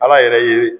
Ala yɛrɛ ye